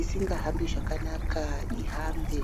asingahambi zvakanaka ihambe.